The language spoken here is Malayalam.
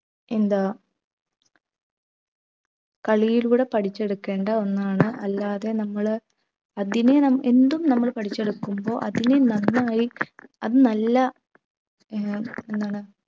എന്താ കളിയിലൂടെ പഠിച്ചെടുക്കേണ്ട ഒന്നാണ് അല്ലാതെ നമ്മൾ അതിനും നാം എന്തും നമ്മൾ പഠിച്ചെടുക്കുമ്പോ അതിൽ നന്നായി അത് നല്ല എന്താ എന്താണ്